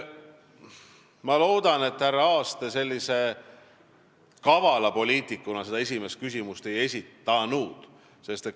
Ma loodan, härra Aas, et te seda esimest küsimust ei esitanud sellise kavala poliitikuna.